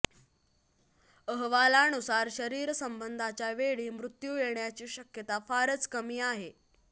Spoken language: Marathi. अहवालानुसार शरीरसंबंधाच्या वेळी मृत्यू येण्याची शक्यता फारच कमी आहे